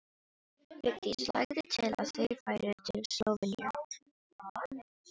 Vigdís lagði til að þau færu til Slóveníu.